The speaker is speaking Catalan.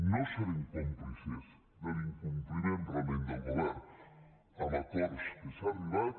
no serem còmplices de l’incompliment realment del govern amb acords a què s’ha arribat